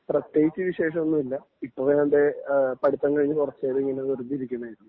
പ്രത്യേകിച്ച് വിശേഷം ഒന്നുമില്ല ഇപ്പോ ഇതാണ്ടെ പടിത്തം കഴിഞ്ഞ് കുറച്ചുകാലം ഇങ്ങനെ വെറുതെ ഇരിക്കണേ ആയിരുന്നു